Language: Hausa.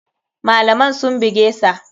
Malaman sun bugesa.